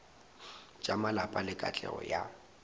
tša malapa le katlego ya